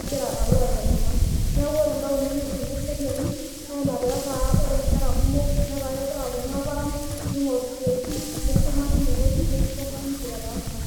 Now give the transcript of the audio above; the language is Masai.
igira alo aitanyamal. Neeku ore ntaoni netijing'a eseriani, naa ina pee etaa ore nkera kumok netaa kegira aapuonu aaparan neing'oru siatin, neisuma teine wueji neshuko nkang'itie etaa iltung'anak.